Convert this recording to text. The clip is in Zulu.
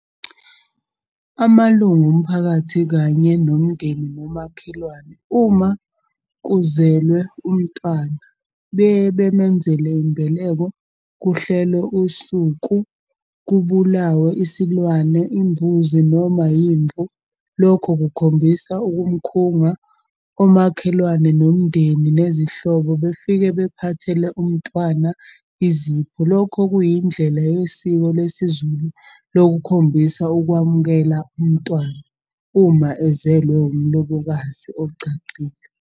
Amalungu omphakathi kanye nomndeni nomakhelwane uma kuzelwe umntwana. Beye bemenzele imbeleko, kuhlelwe usuku, kubulawe isilwane imbuzi noma yimvu. Lokho kukhombisa ukumkhunga omakhelwane nomndeni nezihlobo befike bephathele umntwana izipho. Lokho kuyindlela yesiko lesiZulu lokukhombisa ukwamukela umntwana, uma ezelwe umlobokazi ogcagcile.